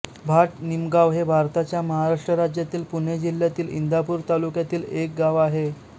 भाट निमगाव हे भारताच्या महाराष्ट्र राज्यातील पुणे जिल्ह्यातील इंदापूर तालुक्यातील एक गाव आहे